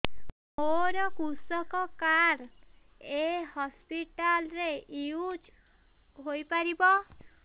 ମୋର କୃଷକ କାର୍ଡ ଏ ହସପିଟାଲ ରେ ୟୁଜ଼ ହୋଇପାରିବ